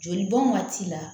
Joli bɔn waati la